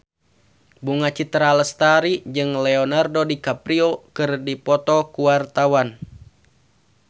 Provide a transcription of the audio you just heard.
Bunga Citra Lestari jeung Leonardo DiCaprio keur dipoto ku wartawan